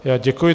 Já děkuji.